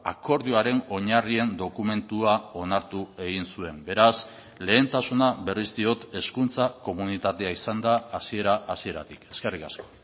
akordioaren oinarrien dokumentua onartu egin zuen beraz lehentasuna berriz diot hezkuntza komunitatea izan da hasiera hasieratik eskerrik asko